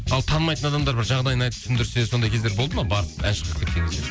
ал танымайтын адамдар бір жағдайын айтып түсіндірсе сондай кездер болды ма барып ән шырқап кеткен кездер